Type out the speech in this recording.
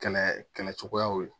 Kɛlɛ kɛlɛ cogoyaw ye